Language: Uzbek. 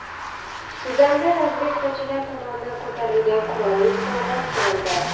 Sudanda razvedkachilar tomonidan ko‘tarilgan qurolli isyon bostirildi.